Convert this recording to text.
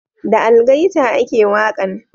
Da algaita a ke waƙan